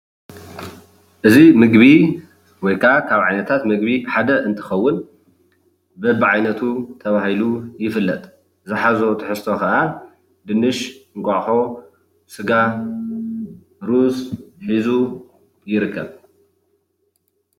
እዚ ምግቢ ወይ ከዓ ካብ ዓይነታት ምግቢ ሓደ እንትኸውን በብዓይነቱ ተባሂሉ ይፍለጥ ዝሓዞ ትሕዝቶ ከዓ ድንሽ፣ እንቋቅሖ፣ ሰጋ፣ ሩዝ ፣ሒዙ ይርከብ።